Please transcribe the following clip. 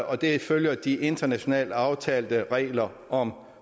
og det følger de internationalt aftalte regler om